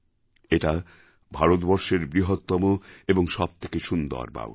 এটা ভারতবর্ষের বৃহত্তম এবং সবথেকে সুন্দর বাউরি